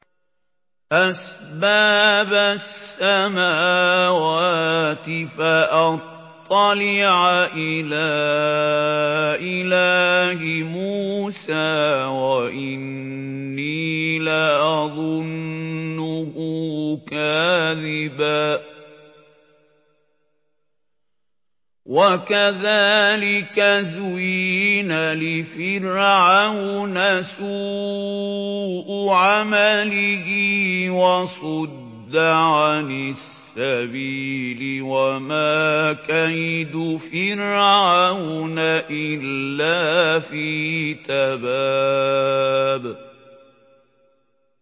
أَسْبَابَ السَّمَاوَاتِ فَأَطَّلِعَ إِلَىٰ إِلَٰهِ مُوسَىٰ وَإِنِّي لَأَظُنُّهُ كَاذِبًا ۚ وَكَذَٰلِكَ زُيِّنَ لِفِرْعَوْنَ سُوءُ عَمَلِهِ وَصُدَّ عَنِ السَّبِيلِ ۚ وَمَا كَيْدُ فِرْعَوْنَ إِلَّا فِي تَبَابٍ